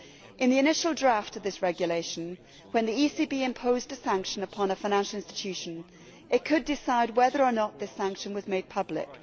In the initial draft of this regulation, when the ECB imposed a sanction upon a financial institution it could decide whether or not this sanction was made public.